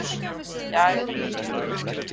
Sindri Sindrason: Þórhildur, hver er staðan núna?